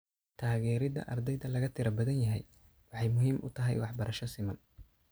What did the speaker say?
Taageerida ardayda laga tirada badan yahay waxay muhiim u tahay waxbarasho siman.